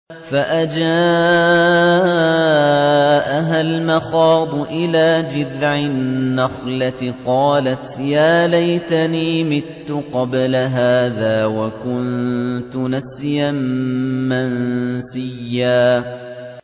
فَأَجَاءَهَا الْمَخَاضُ إِلَىٰ جِذْعِ النَّخْلَةِ قَالَتْ يَا لَيْتَنِي مِتُّ قَبْلَ هَٰذَا وَكُنتُ نَسْيًا مَّنسِيًّا